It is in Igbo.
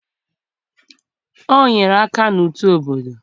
O nyere aka na uto obodo.